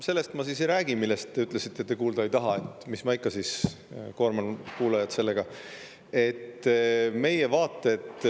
Sellest ma siis ei räägi, mille kohta te ütlesite, et te kuulda ei taha, mis ma siis ikka koorman kuulajat sellega.